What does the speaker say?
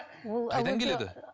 қайдан келеді